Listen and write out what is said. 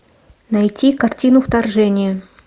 найти картину вторжение